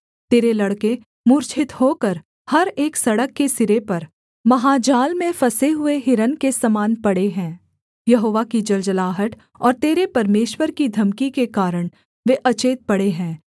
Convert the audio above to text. तेरे लड़के मूर्छित होकर हर एक सड़क के सिरे पर महाजाल में फँसे हुए हिरन के समान पड़े हैं यहोवा की जलजलाहट और तेरे परमेश्वर की धमकी के कारण वे अचेत पड़े हैं